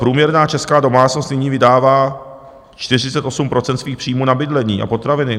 Průměrná česká domácnost nyní vydává 48 % svých příjmů na bydlení a potraviny.